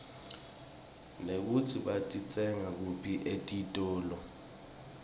nekutsi batitsenga kuphi etitolo